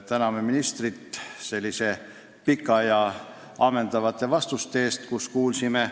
Täname ministrit pikkade ja ammendavate vastuste eest!